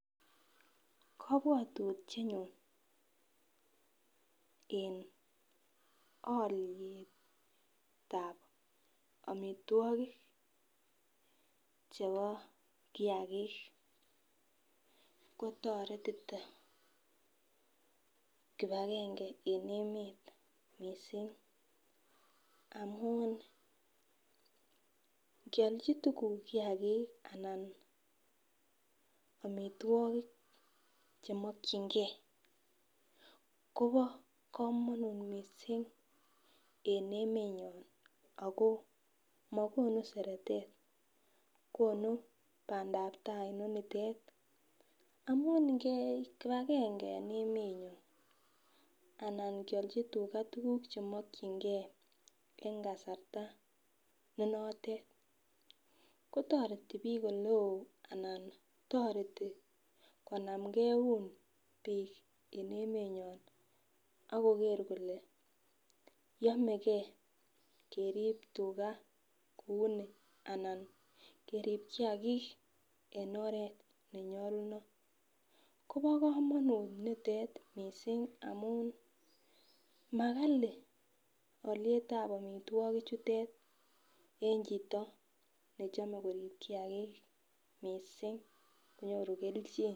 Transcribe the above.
Konbwotutye nyun en okietab omitwokik chebo kiyagik kotoretite kipagange en emet missing amun kiolchin tukuk kiyagik anan omitwokik chemokingee Kobo komonut missing en emenyon ako mokonu seretet konu pandap tai inonitet amun ingeyai kipagenge en emenyon anan kiolchin tugaa tukuk chemokingee en kasarta ne notet kotoreti bik oleo anan toreti konamgee eun bik en kokwenyon ak koger kole yomegee keribe tugaa kouni anan keribe kiyagik en oret nenyolunot Kobo komonut nitet missing amun Makali okietab omitwokik chutet en chito nechome korib kiyagik missing nyoru kerichek.